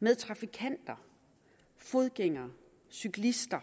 medtrafikanter fodgængere cyklister